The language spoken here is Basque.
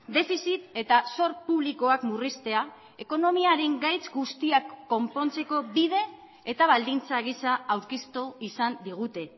defizit eta zor publikoak murriztea ekonomiaren gaitz guztiak konpontzeko bide eta baldintza gisa aurkeztu izan digute